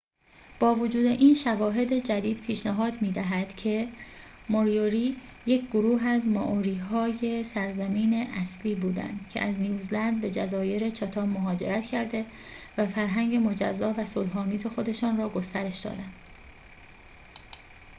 با وجود این شواهد جدید پیشنهاد می‌دهد که موریوری یک گروه از مائوری های سرزمین اصلی بودند که از نیوزلند به جزایر چاتام مهاجرت کرده و فرهنگ مجزا و صلح‌آمیز خودشان را گسترش دادند